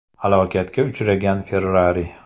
Halokatga uchragan Ferrari.